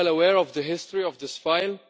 are well aware of the history of this file.